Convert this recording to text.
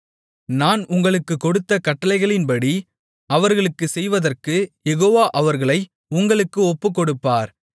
நான் உங்களுக்குக் கொடுத்த கட்டளைகளின்படி அவர்களுக்குச் செய்வதற்கு யெகோவா அவர்களை உங்களுக்கு ஒப்புக்கொடுப்பார்